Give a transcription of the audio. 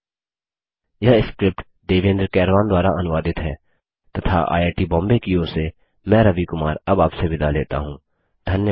यह स्क्रिप्ट देवेन्द्र कैरवान द्वारा अनुवादित है तथा आईआई टी बॉम्बे की ओर से मैं रवि कुमार अब आपसे विदा लेता हूँ धन्यवाद